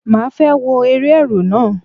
Màá fẹ́ wo eré Ẹ̀rù náà.